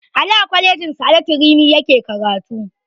Ali a kwalejin sa'adatu rimi yake karatu